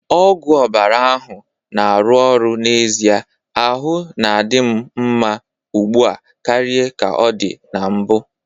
Ọgwụ ọbara ahụ na-arụ ọrụ n'ezie, ahụ na-adị m mma ugbu a karịa ka ọ dị na mbụ